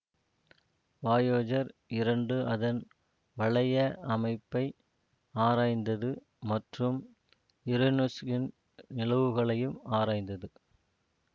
Voyager இரண்டு அதன் வளைய அமைப்பை ஆராய்ந்தது மற்றும் யுரேனுஸ்சின் நிலவுகளையும் ஆராய்ந்தது